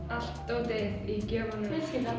allt dótið í gjöfunum fjölskyldan